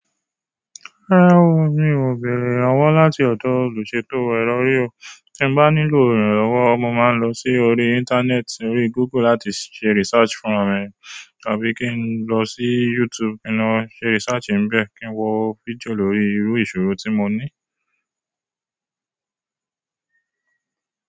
Rárá o, mi ò béèrè ìrànwọ́ láti ọ̀dọ̀ olùṣètò ẹro o. Tí n bá nílò ìrànlọ́wọ́ mo máa ń lọ sí orí íńtánẹ́ẹ̀tì orí Google láti ṣe research fúnra mi tàbí kí n lọ sí YouTube ki n lo ṣe research nibẹ́ kí n wo fídíò lórí irú ìṣòrò tí mo ní.